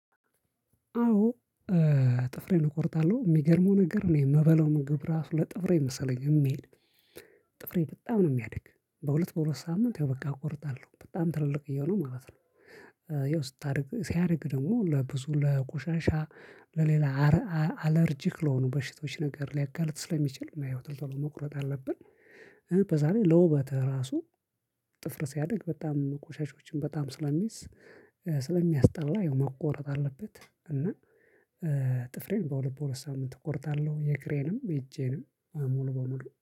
አዎ። ጥፍሬን እቆርጣለሁ የሚገርመው ነገር እኔ የምበለው ምግብ ራሱ ለጥፍሬ መሰለኝ የሚሄድ። ጥፍሬ በጣም ነው የሚያድግ በሁለት በሁለት ሳምንት ያው በቃ እቆርጣለሁ በጣም ትልልቅ እየሆኑ ማለት ነው። ያው ስታደርግ ሲያደርግ ደግሞ ለብዙ ለቆሻሻ ለሌላ አለርጂክ ለሆኑ በሽቶች ነገር ሊያጋልጥ ስለሚችል እና ያው ጥፍር ቶሎ መቁረጥ አለብን። በዛ ላይ ለውበትህ ራሱ ጥፍር ሲያድግ በጣም ቆሻሻዎችን በጣም ስለሚዝ ስለሚያስጠላ መቆረጥ አለበት። እና ጥፍሬን በሁለት በሁለት ሳምንት እቆርጣለሁ የግሬንም የእጄንም ሙሉ በሙሉ